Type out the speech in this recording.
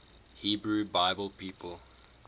hebrew bible people